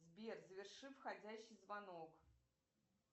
сбер заверши входящий звонок